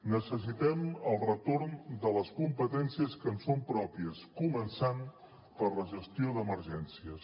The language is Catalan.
necessitem el retorn de les competències que ens són pròpies començant per la gestió d’emergències